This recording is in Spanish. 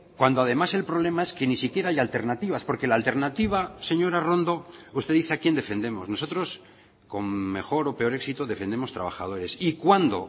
cuando además el problema es que ni siquiera hay alternativas porque la alternativa señora arrondo usted dice a quien defendemos nosotros con mejor o peor éxito defendemos trabajadores y cuando